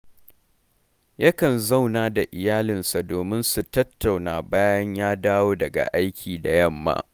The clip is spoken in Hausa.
yakan zauna da iyalansa domin su tattauna bayan ya dowa daga aiki da yamma